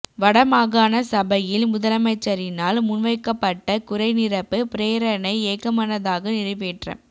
வட மாகாண சபையில் முதலமைச்சரினால் முன்வைக்கப்பட்ட குறை நிரப்பு பிரேரணை ஏகமனதாக நிறைவேற்றம்